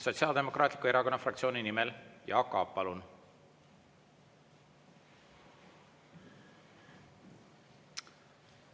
Sotsiaaldemokraatliku Erakonna fraktsiooni nimel Jaak Aab, palun!